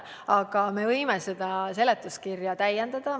Aga me võime seletuskirja täiendada.